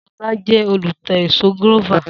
Solá je olùta ẹ̀so gúrófà